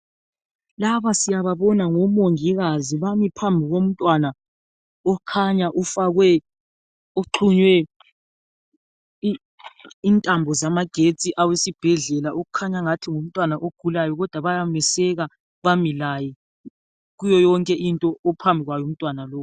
Laba siyababona ngomongikazi bami phambi komntwana okhanya ufakwe, uxhunywe intambo zamagetsi awesibhedlela okukhanya ngathi ngumntwana ogulayo kodwa bayameseka bamilaye kuyo yonke into ophambi kwayo umntwana lowu.